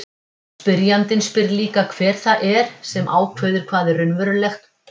Spyrjandinn spyr líka hver það er sem ákveður hvað er raunverulegt og hvað ekki.